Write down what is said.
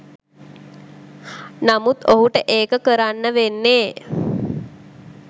නමුත් ඔහුට ඒක කරන්න වෙන්නේ